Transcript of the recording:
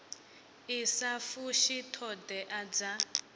i sa fushi thodea dza